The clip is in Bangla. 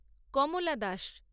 কমলা দাস